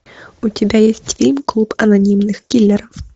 у тебя есть фильм клуб анонимных киллеров